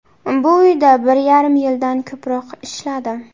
Bu uyda bir yarim yildan ko‘proq ishladim.